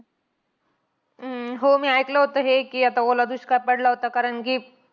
हम्म हो मी ऐकलं होतं हे. कि आता ओला दुष्काळ पडला होता. कारण कि